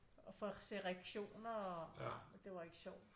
Og for at se reaktioner og nej det var ikke sjovt